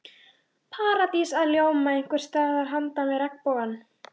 Paradís að ljóma einhvers staðar handan við regnbogann.